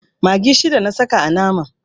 Maggi shida na saka a naman.